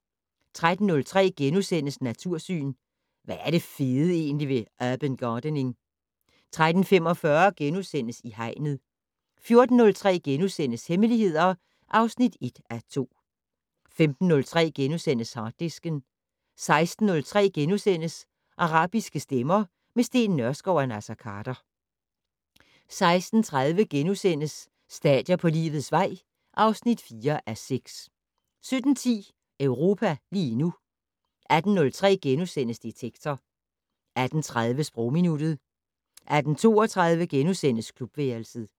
13:03: Natursyn: Hvad er det fede egentlig ved urban gardening? * 13:45: I Hegnet * 14:03: Hemmeligheder (1:2)* 15:03: Harddisken * 16:03: Arabiske stemmer - med Steen Nørskov og Naser Khader * 16:30: Stadier på livets vej (4:6)* 17:10: Europa lige nu 18:03: Detektor * 18:30: Sprogminuttet 18:32: Klubværelset *